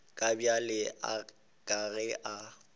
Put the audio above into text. ka bjale ka ge a